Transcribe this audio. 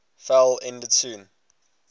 fell ended soon